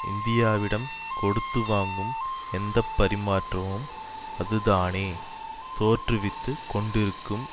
இந்தியாவிடம் கொடுத்து வாங்கும் எந்த பரிமாற்றமும் அது தானே தோற்றுவித்து கொண்டிருக்கும்